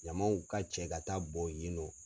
Ɲamanw ka cɛ ka taa bɔn yen nɔ.